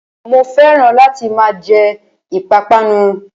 Mo fẹ́ràn láti máa jẹ ìpápánu